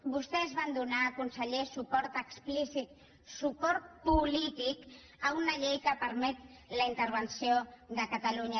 vostès van donar conseller suport explícit suport políticpermet la intervenció de catalunya